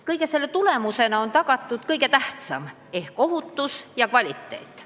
Kõige selle tulemusena on tagatud kõige tähtsam ehk ohutus ja kvaliteet.